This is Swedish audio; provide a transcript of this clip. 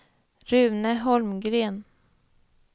Rune Holmgren